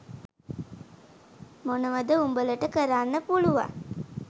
මොනවද උඹලට කරන්න පුළුවන්?